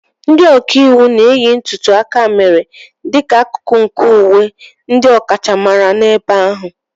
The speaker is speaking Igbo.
Ndị ọka iwu na-eyi ntùtù akamèrè dịka akụkụ nke uwe ndị ọkachamara n'ebe ahụ.